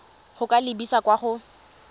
go ka lebisa kwa go